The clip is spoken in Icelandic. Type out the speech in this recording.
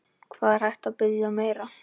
Hvað er hægt að biðja um meira?